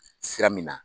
Sira min na